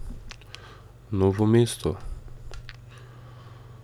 Novo mesto.